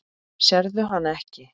Sérðu hana ekki?